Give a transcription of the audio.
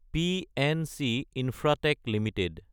PNC Infratech Ltd